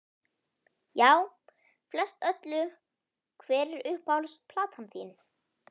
Já, flest öllu Hver er uppáhalds platan þín?